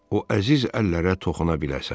O əziz əllərə toxuna biləsən.